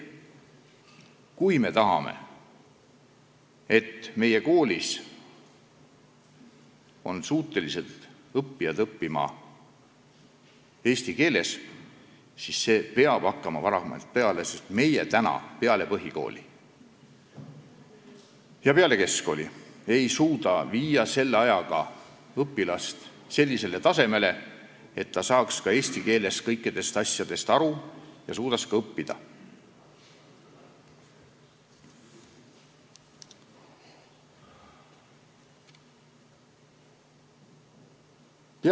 Kui me tahame, et meie koolis õppijad oleksid suutelised õppima eesti keeles, siis see õpe peab hakkama varem peale, sest meie ei suuda pärast põhikooli või keskkooli viia õpilast sellisele tasemele, et ta saaks eesti keeles kõikidest asjadest aru ja suudaks ka selles keeles õppida.